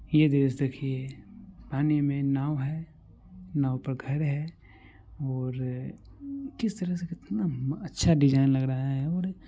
ये दृश्य देखिये पानी मे नाव है नाव पर घर है और अ किस तरह से कितना म अच्छा डिजाइन लग रहा हैऔर---